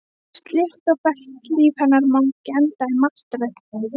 Slétt og fellt líf hennar má ekki enda í martröð.